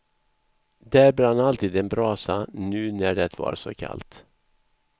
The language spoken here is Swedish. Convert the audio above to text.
Där brann alltid en brasa, nu när det var så kallt.